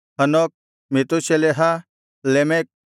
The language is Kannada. Hanoch Methuselah Lamech